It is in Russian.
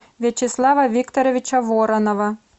вячеслава викторовича воронова